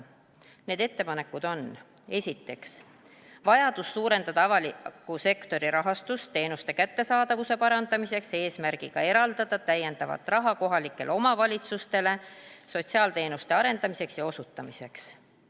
Need ettepanekud on esiteks vajadus suurendada avaliku sektori rahastust teenuste kättesaadavuse parandamiseks, eesmärgiga eraldada täiendavat raha kohalikele omavalitsustele sotsiaalteenuste arendamiseks ja osutamiseks.